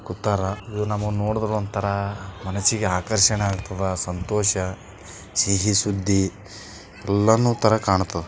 ಇಲ್ಲಿ ಕುತಾರ ಇವ್ರ್ನಾ ನೋಡಿದ್ರೆ ಒಂಥರಾ ಮನಸ್ಸಿಗೆ ಆಕರ್ಷಣೆ ಆಗ್ತದ ಸಂತೋಷ ಸಿಹಿ ಸುದ್ದಿ ಎಲ್ಲರೂ ತರ ಕಾಣ್ತದೆ.